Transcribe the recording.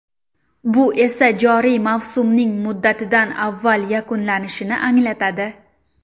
Bu esa joriy mavsumning muddatidan avval yakunlanishini anglatadi.